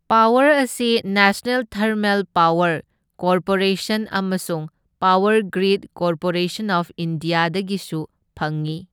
Power ꯑꯁꯤ national thermal power corporation ꯑꯃꯁꯨꯡ power grid corporation of ꯏꯟꯗꯤꯌꯥꯗꯒꯤꯁꯨ ꯐꯪꯏ꯫